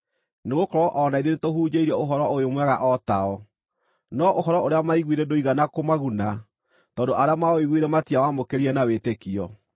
Nĩgũkorwo o na ithuĩ nĩtũhunjĩirio Ũhoro-ũyũ-Mwega o tao; no ũhoro ũrĩa maaiguire ndũigana kũmaguna, tondũ arĩa maũiguire matiawamũkĩrire na wĩtĩkio.